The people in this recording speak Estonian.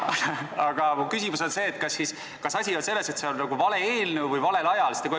Aga mu küsimus on, kas asi on selles, et see on vale eelnõu või valel ajal?